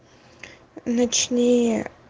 ночные